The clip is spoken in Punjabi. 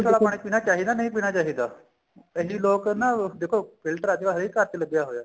ਪਾਣੀ ਪੀਣਾ ਚਾਹੀਦਾ ਨਹੀਂ ਪੀਣਾ ਚਾਹੀਦਾ ਕਈ ਲੋਕ ਨਾ ਦੇਖੋ filter ਅੱਜਕਲ ਹਰੇਕ ਘਰ ਚ ਲੱਗਿਆ ਹੋਇਆ